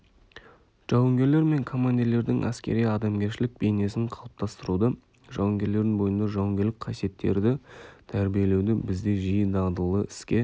жауынгерлер мен командирлердің әскери адамгершілік бейнесін қалыптастыруды жауынгерлердің бойында жауынгерлік қасиеттерді тәрбиелеуді бізде жиі дағдылы іске